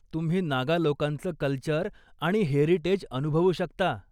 तुम्ही नागा लोकांचं कल्चर आणि हेरीटेज अनुभवू शकता.